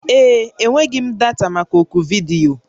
Ee. Enweghị m data maka oku vidiyo